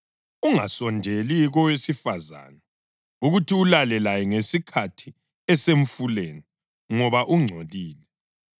Ungasondeli kowesifazane ukuthi ulale laye ngesikhathi esemfuleni ngoba ungcolile.